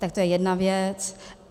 Tak to je jedna věc.